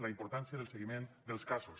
la importància del seguiment dels casos